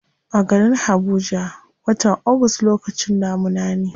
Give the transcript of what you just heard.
A garin habuja, watan august lokacin damuna ne.